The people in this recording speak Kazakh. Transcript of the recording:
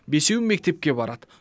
бесеуі мектепке барады